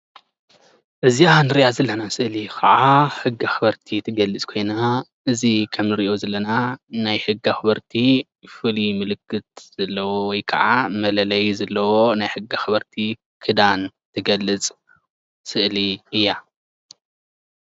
እዚኣ ንሪኣ ዘለና ስእሊ ከዓ ሕጊ ኣክበርቲ ትገልፅ ኮይና እዚ ከም ንሪኦ ዘለና ናይ ሕጊ ኣክበርቲ ፍሉይ ምልክት ዘለዎ ወይ ከዓ መለለዪ ዘለዎ ናይ ሕጊ ኣክበርቲ ክዳን ዝገልፅ ስእሊ እያ ።